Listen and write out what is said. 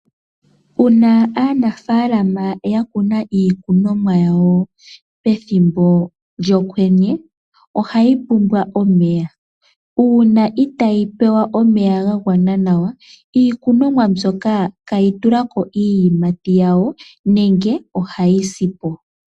Uuna aanafaalama ya kuna iikunomwa yawo pethimbo lyokwenye, ohayi pumbwa omeya , uuna itaayi pewa omeya ga gwana nawa, iikunomwa mbyoka iha yi tulako iiyimati yawo, nenge ohayi si po.